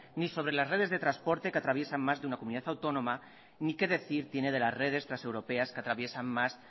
ni sobre las redes de transporte que atraviesa más de una comunidad autónoma ni qué decir tiene de las redes transeuropeas que atraviesan más